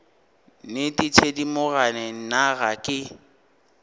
nnete thedimogane nna ga ke